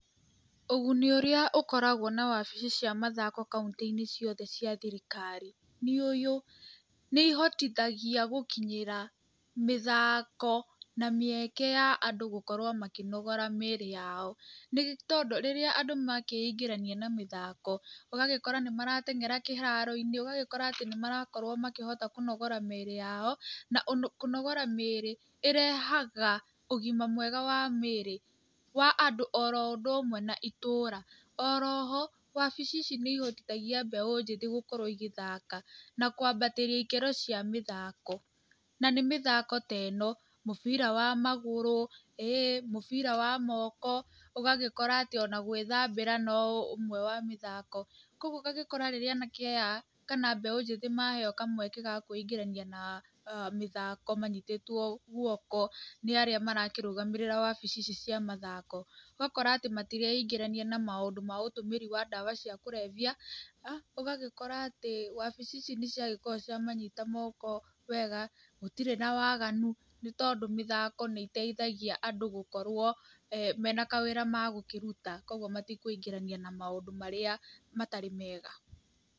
Ũguni ũrĩa ũkoragwo na wabici cia mathako kaũntĩ-inĩ ciothe cia thirikari nĩ ũũ; nĩ ihotithagia gũkinyia mĩthako na mĩeke ya andũ gũkorwo makĩnogora mĩĩrĩ yao. Nĩ tondũ rĩrĩa andũ makĩingĩrania na mĩthako, ũgagĩkora atĩ nĩ maratengera kĩharo-inĩ, ũgagĩkora atĩ nĩmarakorwo makĩhota kũnogora mĩĩrĩ yao. Na kũnogora mĩĩrĩ ĩrehaga ũgima mwega wa mĩĩrĩ wa andũ oro ũndũ hamwe na itũra. Oro ho wabici ici nĩ ihotithagia mbeũ njĩthĩ gũkorwo igĩthaka na kwambatĩria ikĩro cia mĩthako. Na nĩ mĩthako ta ĩno; mũbira wa magũrũ, ee mũbira wa moko, ũgagĩkora atĩ ona gwĩthambĩra no ũmwe wa mĩthako. Koguo ũgagĩkora rĩrĩa anake aya kana mbeũ njĩthĩ maheo kamweke ga kwĩingĩrania na mĩthako manyitĩtwo guoko nĩ arĩa marakĩrũgamĩrĩra wabici ici cia mathako. Ũgakora atĩ matireingĩrania na maũndũ ma ũtũmĩri wa ndawa cia kũrebia. Ũgagĩkora atĩ wabici ici nĩ ciagĩkorwo cia manyita moko wega, gũtirĩ na waganu, nĩtondũ mĩthako nĩ ĩteithagia andũ gũkorwo mena kawĩra magũkĩruta. Koguo matikwĩingĩrania na maũndũ marĩa matarĩ mega.